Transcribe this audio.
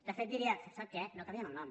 de fet diria sap què no canviem el nom